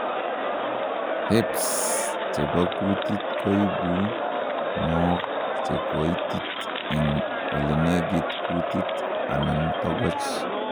herpes chebo kutit koibu mook chekoitit en olenegit kutit anan togoch